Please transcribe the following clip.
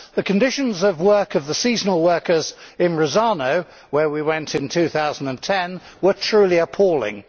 The conditions of work of the seasonal workers in Rosarno, where we went in 2010, were truly appalling.